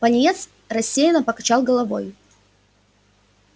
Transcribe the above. пониетс рассеянно покачал головой